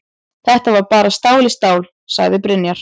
Þetta var bara stál í stál, sagði Brynjar.